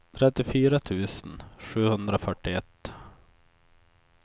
trettiofyra tusen sjuhundrafyrtioett